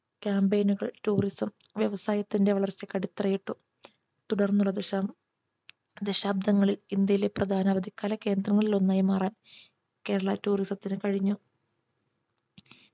campaign നുകൾ tourism വ്യവസായത്തിന്റെ വളർച്ചയ്ക്ക് അടിത്തറയിട്ടു തുടർന്നുള്ള ദശം ദശാബ്ദങ്ങളിൽ ഇന്ത്യയിലെ പ്രധാന അവധിക്കാല കേന്ദ്രങ്ങളിൽ ഒന്നായി മാറാൻ Kerala tourisum ത്തിന് കഴിഞ്ഞു